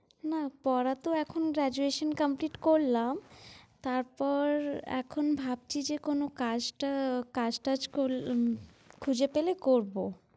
না পড়াতো এখন graduation complete করলাম, তারপর এখন ভাবছি যে কোনো কাজ টা~ কাজ-টাজ ক~ খুঁজে পেলে করবো।